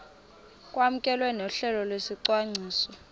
kwamkelwe nohlelo lwesicwangciso